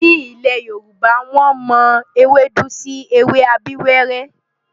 Ní ilẹ̀ Yorùbá, wọ́n mọ ewédú sí ewé abíwẹ́rẹ́.